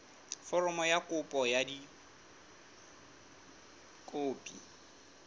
foromo ya kopo ka dikopi